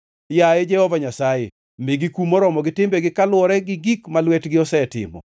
Yaye Jehova Nyasaye, migi kum moromo gi timbegi kaluwore gi gik ma lwetgi osetimo.